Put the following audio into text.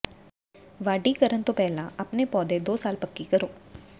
ਵਾਢੀ ਕਰਨ ਤੋਂ ਪਹਿਲਾਂ ਆਪਣੇ ਪੌਦੇ ਦੋ ਸਾਲ ਪੱਕੀ ਕਰੋ